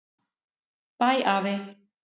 Bæ afi.